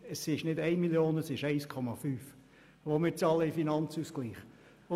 Es sind nicht 1 Mio. Franken, sondern es sind 1,5 Mio. Franken, die wir in den Finanzausgleich einzahlen.